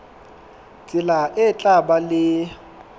tsela e tla ba le